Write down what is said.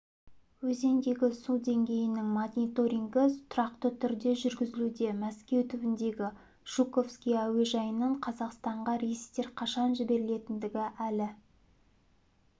өзендегі су деңгейінің мониторингі тұрақты түрде жүргізілуде мәскеу түбіндегі жуковский әуежайынан қазақстанға рейстер қашан жіберілетіндігі әлі